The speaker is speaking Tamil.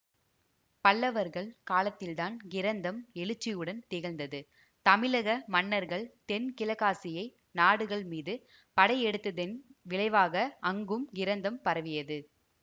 பல்லவர்கள் காலத்தில்தான் கிரந்தம் எழுச்சியுடன் திகழ்ந்தது தமிழக மன்னர்கள் தென்கிழக்காசியை நாடுகள் மீது படையெடுத்ததின் விளைவாக அங்கும் கிரந்தம் பரவியது